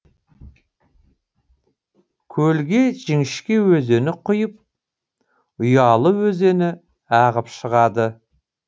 көлге жіңішке өзені құйып ұялы өзені ағып шығады